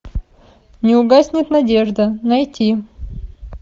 не угаснет надежда найти